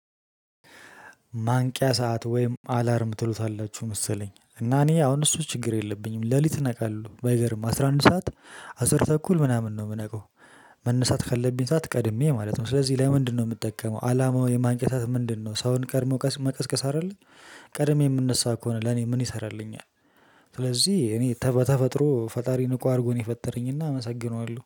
ማንቂያ ሰዓት ወይም አላርም ትሉታላችሁ መሰለኝ እና እኔ አሁን እሱ ችግር የለብኝም ሌሊት ነቃለሁ ባይገርምህ አስራ አንድ ሰዓት አስር ተኩል ምናምን ነው የምነቃው። መነሳት ካለብኝ ሰዓት ቀድሜ ማለት ነው ስለዚህ ለምንድነው የምጠቀመው አላማው የማንቂያ ሰዓት ምንድነው? ሰውን ቀድሞ መቀስቀስ አይደለ። ቀድሜ የምነሳ ከሆነ ለኔ ምን ይሰራልኛል? ስለዚህ እኔ በተፈጥሮ ፈጣሪ ንቁ አድርጎ ነው የፈጠረኝና አመሰግነዋለሁ